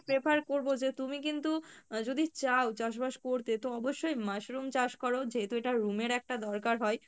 prefer করবো যে, তুমি কিন্তু আহ যদি চাও চাষ বাস করতে তো অবশ্যই mushroom চাষ করো যেহেতু এটা room এর একটা দরকার হয়,